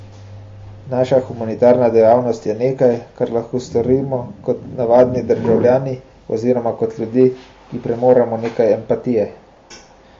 Naša humanitarna dejavnost je nekaj, kar lahko storimo kot navadni državljani oziroma kot ljudje, ki premoremo nekaj empatije.